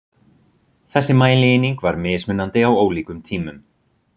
þessi mælieining var mismunandi á ólíkum tímum